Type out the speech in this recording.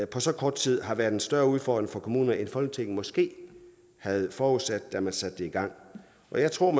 på så kort tid har været en større udfordring for kommunerne end folketinget måske havde forudsat da man satte det i gang jeg tror